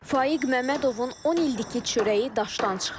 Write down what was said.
Faiq Məmmədovun 10 ildir ki, çörəyi daşdan çıxır.